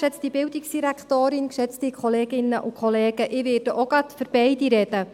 Ich werde auch gleich zu beiden sprechen.